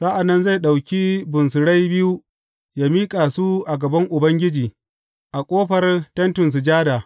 Sa’an nan zai ɗauki bunsurai biyu yă miƙa su a gaban Ubangiji a ƙofar Tentin Sujada.